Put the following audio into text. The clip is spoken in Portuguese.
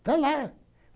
Vai lá.